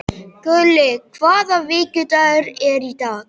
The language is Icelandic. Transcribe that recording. Gulli, hvaða vikudagur er í dag?